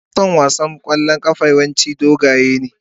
Mason wasan kwallon kafa yawanci dogaye ne.